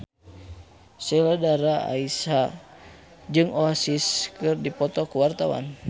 Sheila Dara Aisha jeung Oasis keur dipoto ku wartawan